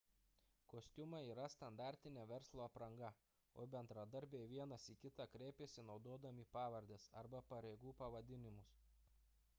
kostiumai yra standartinė verslo apranga o bendradarbiai vienas į kitą kreipiasi naudodami pavardes arba pareigų pavadinimus